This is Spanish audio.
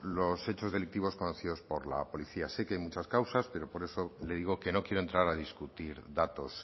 los hechos delictivos conocidos por la policía sé que hay muchas causas pero por eso le digo que no quiero entrar a discutir datos